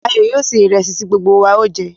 Ayo yóò sè ìrẹ̀sì ti gbogbo wa o jẹ̀.